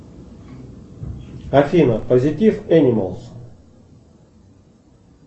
афина позитив энималс